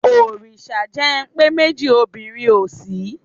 Òrìṣà jẹ́ ń pé méjì obìnrin ò sí.